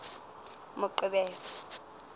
moqebelo